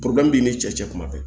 b'i ni cɛ cɛ kuma bɛɛ